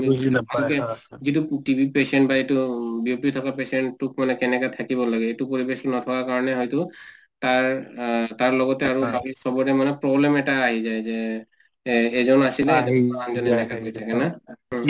যিটো TB patient বা BP থকা patient টোক মানে কেনেকৈ থাকিব লাগে সেইটো পৰিবেশ নোপোৱা কাৰণে হয়টো তাৰ তাৰ লগতে আমি সৱৰে problem এটা আহি যায় যে এ এইজন আছিলে